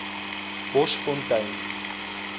boschfontein